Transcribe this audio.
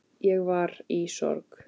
Ég var í sorg.